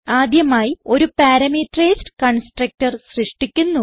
ആദ്യമായി ഒരു parameterized constructor സൃഷ്ടിക്കുന്നു